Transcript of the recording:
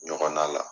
Ɲɔgɔnna la